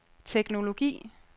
teknologi